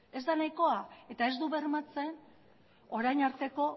ez da nahikoa eta ez du bermatzen orain arteko